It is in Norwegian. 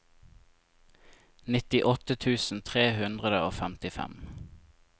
nittiåtte tusen tre hundre og femtifem